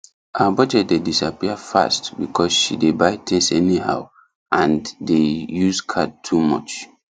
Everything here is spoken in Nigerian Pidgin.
her budget dey disappear fast because she dey buy things anyhow and dey use card too much